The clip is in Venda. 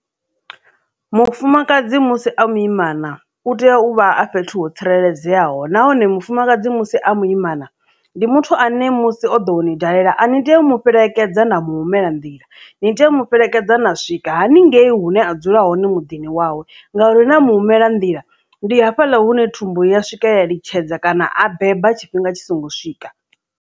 Mufumakadzi musi a muimana u tea u vha a fhethu ho tsireledzeaho nahone mufumakadzi musi a muimana ndi muthu ane musi o ḓo uni dalela a ni tei u mu fhelekedza na muhumela nḓila ni tea u mu fhelekedza na swika haningei hune a dzula hone muḓini wawe ngauri na mu humela nḓila ndi hafhaḽa hune thumbu ya swika ya litshedza kana a beba tshifhinga tshi songo swika.